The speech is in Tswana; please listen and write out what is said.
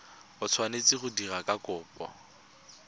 o tshwanetseng go dira kopo